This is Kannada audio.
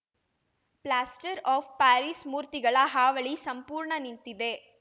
ಫ್ಲಾಸ್ಟರ್‌ ಆಫ್‌ ಪ್ಯಾರಿಸ್‌ ಮೂರ್ತಿಗಳ ಹಾವಳಿ ಸಂಪೂರ್ಣ ನಿಂತಿದೆ